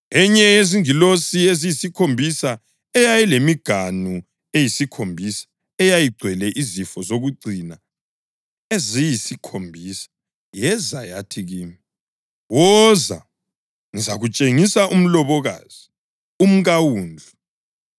Enye yezingilosi eziyisikhombisa eyayilemiganu eyisikhombisa eyayigcwele izifo zokucina eziyisikhombisa yeza yathi kimi, “Woza, ngizakutshengisa umlobokazi, umkaWundlu.”